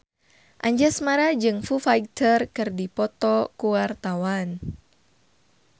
Anjasmara jeung Foo Fighter keur dipoto ku wartawan